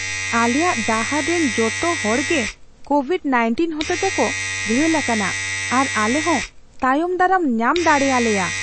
ᱟᱞᱮᱭᱟᱜ ᱰᱟᱦᱟᱨ ᱨᱮᱱ ᱡᱚᱛᱚ ᱦᱚᱲᱜᱮ ᱠᱳᱵᱷᱤᱰᱼ᱑᱙ ᱦᱚᱛᱮᱛᱮ ᱠᱚ ᱜᱷᱟᱹᱞ ᱟᱠᱟᱱᱟ ᱟᱨ ᱟᱞᱮ ᱦᱚᱸ ᱛᱟᱭᱚᱢ ᱫᱟᱨᱟᱢ ᱧᱟᱢ ᱫᱟᱲᱮ ᱟᱞᱮᱭᱟ ᱾